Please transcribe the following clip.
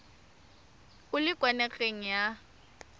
o le kwa nageng ya